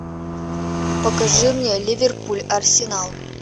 покажи мне ливерпуль арсенал